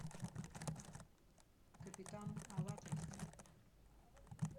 капитан алатристе